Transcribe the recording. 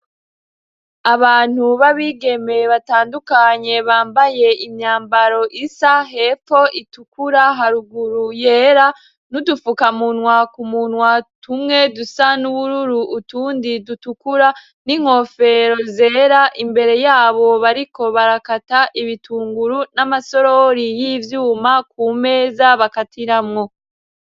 Abantu babigemeye batandukanye bambaye imyambaro isa hepfo itukura, haruguru yera, n'udufukamuntwa kumunwa tumwe dusa n'ubururu utundi dutukura, n'inkofero zera, imbere yabo bariko barakata ibitunguru n'amasorori y'ivyuma ku meza bakatiramwo.